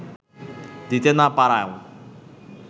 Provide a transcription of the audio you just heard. দিতে না পারাও